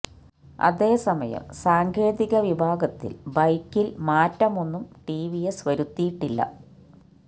അതേസമയം സാങ്കേതിക വിഭാഗത്തിൽ ബൈക്കിൽ മാറ്റമൊന്നും ടി വി എസ് വരുത്തിയിട്ടില്ല